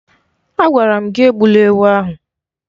Agwara m gị egbula ewu ahụ!